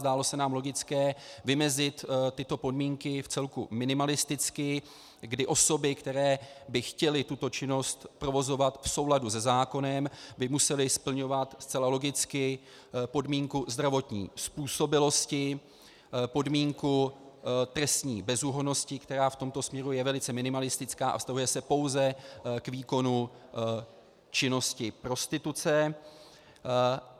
Zdálo se nám logické vymezit tyto podmínky vcelku minimalisticky, kdy osoby, které by chtěly tuto činnost provozovat v souladu se zákonem, by musely splňovat zcela logicky podmínku zdravotní způsobilosti, podmínku trestní bezúhonnosti, která v tomto směru je velice minimalistická a vztahuje se pouze k výkonu činnosti prostituce.